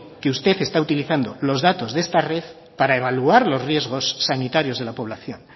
que usted está utilizando los datos de esta red para evaluar los riesgos sanitarios de la población